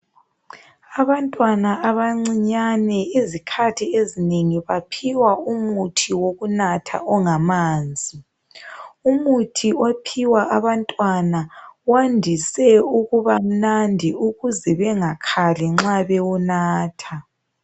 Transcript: Abantwana abancinyane izikhathi ezinengi baphiwa umuthi wokunatha ongamanzi, umuthi ophiwa abantwana wandise ukuba mnandi ukuze bengakhali nxa bewunatha.